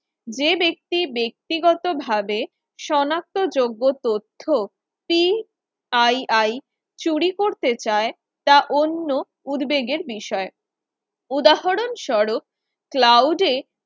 যে ব্যক্তি ব্যক্তিগতভাবে শনাক্ত যোগ্য তথ্য CII চুরি করতে চায় তা অন্য উদ্বেগের বিষয় উদাহরণ স্বরূপ Cloud এ